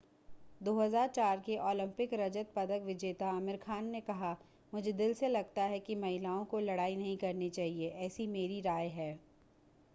2004 के ओलंपिक रजत पदक विजेता आमिर खान ने कहा मुझे दिल से लगता है कि महिलाओं को लड़ाई नहीं करनी चाहिए ऐसी मेरी राय है